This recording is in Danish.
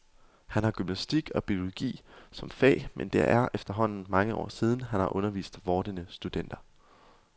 Han har gymnastik og biologi som fag, men det er efterhånden mange år siden, han har undervist vordende studenter.